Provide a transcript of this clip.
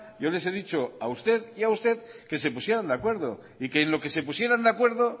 yo les he dicho a usted y a usted que se pusieran de acuerdo y que en lo que se pusieran de acuerdo